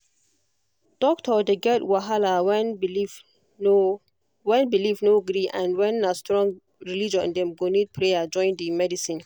doctor dey get wahala when belief no when belief no gree and if na strong religion dem go need prayer join the medicine